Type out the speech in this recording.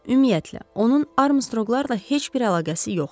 Ümumiyyətlə, onun Armstroqlarla heç bir əlaqəsi yoxdur.